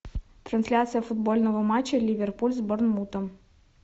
трансляция футбольного матча ливерпуль с борнмутом